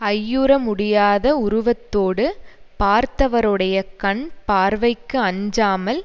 ஐயுற முடியாத உருவத்தோடு பார்த்தவருடைய கண் பார்வைக்கு அஞ்சாமல்